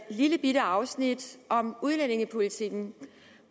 lillebitte afsnit om udlændingepolitikken